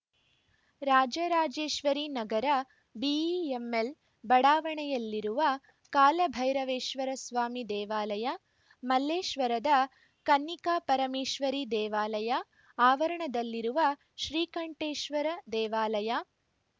Rajarajeshwari Nagar BEML ಬಡಾವಣೆಯಲ್ಲಿರುವ ಕಾಲಭೈರವೇಶ್ವರಸ್ವಾಮಿ ದೇವಾಲಯ ಮಲ್ಲೇಶ್ವರದ ಕನ್ನಿಕಾಪರಮೇಶ್ವರಿ ದೇವಾಲಯ ಆವರಣದಲ್ಲಿರುವ ಶ್ರೀಕಂಠೇಶ್ವರ ದೇವಾಲಯ